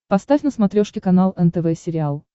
поставь на смотрешке канал нтв сериал